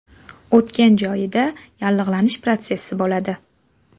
O‘tgan joyida yallig‘lanish protsessi bo‘ladi.